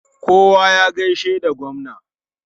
Kowa ya gaishe da gwamna!